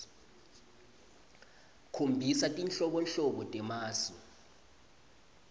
khombisa tinhlobonhlobo temasu